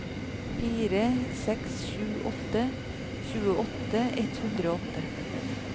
fire seks sju åtte tjueåtte ett hundre og åtte